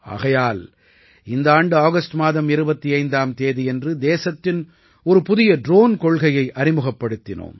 ஆகையால் இந்த ஆண்டு ஆகஸ்ட் மாதம் 25ஆம் தேதியன்று தேசத்தின் ஒரு புதிய ட்ரோன் கொள்கையை அறிமுகப்படுத்தினோம்